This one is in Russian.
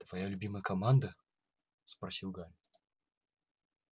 твоя любимая команда спросил гарри